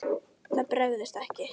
Það bregst ekki.